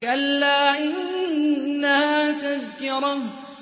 كَلَّا إِنَّهَا تَذْكِرَةٌ